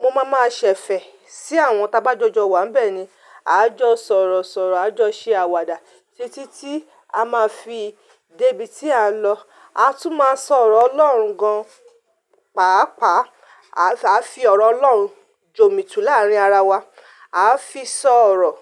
Mo máa ma ṣẹ̀fẹ̀ sí àwọn ta bá jọjọ wà bẹ́ẹ̀ ni. A jọ sọ̀rọ̀ sọ̀rọ̀, a jọ ṣe àwàdà títí tí a máa fi dé ibi tí à ń lọ. A tún máa sọ̀rọ̀ Ọlọ́run gan, pàápàá a sì fi ọ̀rọ̀ Ọlọ́run jomitu láàárín ara wa. A fi sọ̀rọ̀